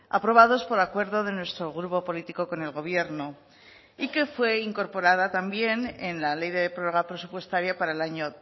aprobados por acuerdo de nuestro grupo político con el gobierno y que fue incorporada también en la ley de prórroga presupuestaria para el año